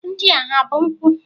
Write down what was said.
Ndị a ha bụ nkwụ?